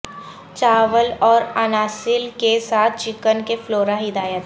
چاول اور اناسل کے ساتھ چکن کے فلورا ہدایت